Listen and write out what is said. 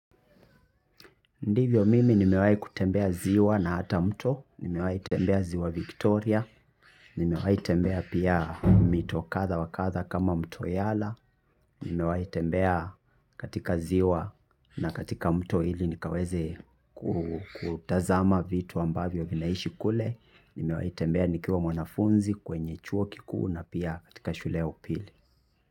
Ndivyo mimi nimewai kutembea ziwa na hata mto, nimewai tembea ziwa Victoria, nimewai tembea pia mito katha wa katha kama mto yala, nimewai tembea katika ziwa na katika mto hili nikaweze kutazama vitu ambavyo vinaishi kule, nimewai tembea nikiwa mwanafunzi kwenye chuo kikuu na pia katika shule ya upili.